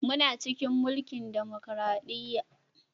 Muna cikin mulkin dimokradiyya